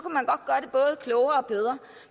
det og bedre